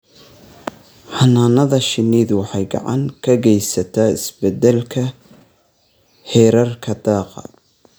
Xannaanada shinnidu waxay gacan ka geysataa isbeddelka heerarka daaqa.